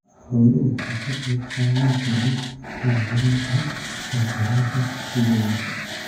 Xooluhu waxay ka qayb qaadan karaan horumarinta kaabayaasha tuulooyinka.